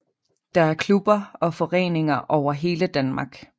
Der er klubber og foreninger over hele Danmark